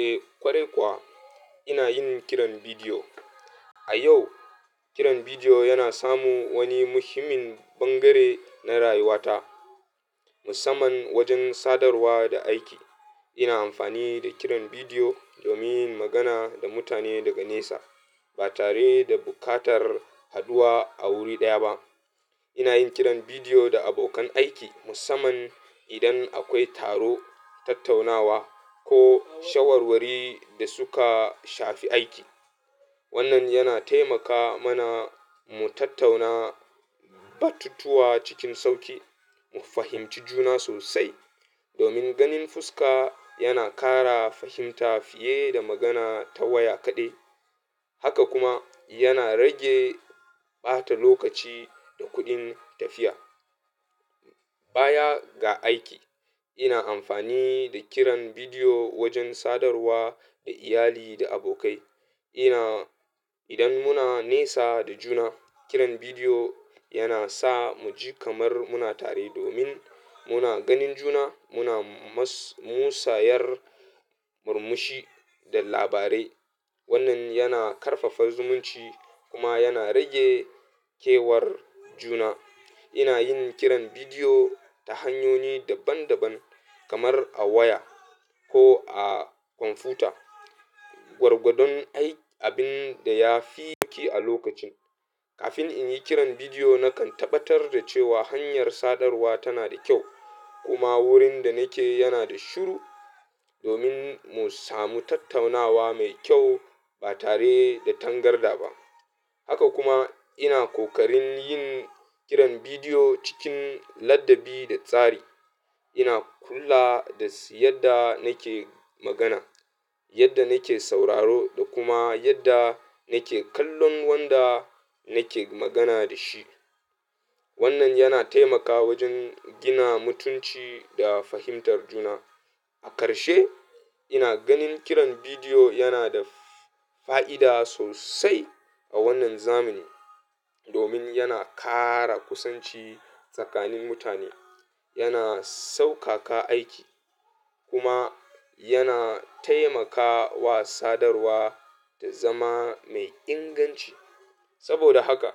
Eh ƙware ƙwawa inayin kiran bidiyo. A yau kiran bidiyo yana samu wani muhimmin bangare na rayuwata musamman wajen sadarwa da aiki. Ina amfani da kiran bidiyo domin yin magana da mutane daga nesa ba tare da buƙatar haɗuwa a wuri ɗaya ba. Ina yin kiran bidiyo da abokan aiki musamman idan akwai taro, tattaunawa ko shawarwari da suka shafi aiki. Wannan yana taimaka mana mu tattauna batutuwa cikin sauƙi, mu fahimci juna sosai domin ganin fuska yana ƙara fahimta fiye da magana ta waya kaɗai. Haka kuma yana rage ɓata lokaci da kuɗin tafiya. Baya ga aiki ina amfani da kiran bidiyo wajen sadarwa da iyali da abokai. Ina idan muna nesa da juna kiran bidiyo yana sa muji kamar muna tare domin muna ganin juna muna musayar murmushi da labarai. Wannan yana ƙarfafa zumunci kuma yana rage kewar juna. Ina yin kiran bidiyo ta hanyoyi daban daban kamar a waya ko a kwamfuta. Gwargwadon abin da ya fi sauƙi a lokacin. Kafin in yi kiran bidiyo nakan tabbatar da cewa hanyar sadarwa tana da kyau kuma wurin da nake yana da shiru domin mu samu tattaunawa mai kyau ba tare da tangarda ba. Haka kuma ina kokarin yin kiran bidiyo cikin ladabi da tsari. Ina kula da yadda nake magana, yadda nake sauraro da kuma yadda nake kallon wanda nake magana da shi. Wannan yana taimakawa wajen gina mutunci da fahimtar juna. A karshe ina ganin kiran bidiyo yana da fa'ida sosai a wannan zamani domin yana ƙara kusanci tsakanin mutane, yana sauƙaƙa aiki kuma yana taimakawa sadarwa ta zama mai inganci. Saboda haka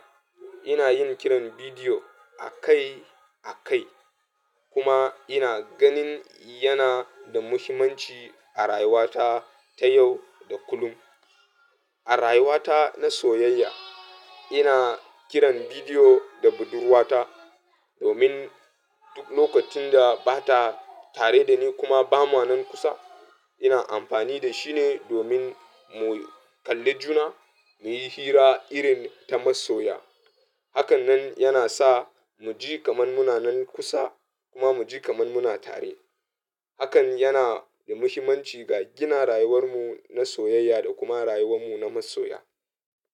ina yin kiran bidiyo akai akai kuma ina ganin yana da muhimmanci a rayuwata ta yau da kullum. A rayuwata na soyayya ina kiran bidiyo da budurwata domin duk lokacin da bata tare da ni kuma bamu nan kusa. Ina amfani da shi ne domin mu kalli juna mu yi hira irin ta masoya. Hakan nan yana sa mu ji kamar muna nan kusa kuma mu ji kamar muna tare. Hakan yana da muhimmanci ga gina rayuwar mu na soyayya da kuma rayuwar mu na masoya.